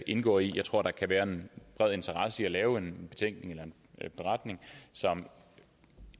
indgå i jeg tror der kan være en bred interesse i at lave en betænkning eller en beretning som